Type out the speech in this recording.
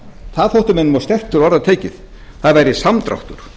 það þótti mönnum of sterkt til orða tekið það væri samdráttur